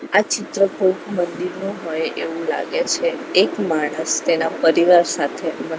આ ચિત્ર કોઈ મંદિરનો હોય એવું લાગે છે એક માણસ તેના પરિવાર સાથે--